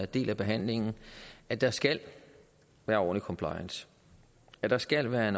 del af behandling at der skal være ordentlig compliance at der skal være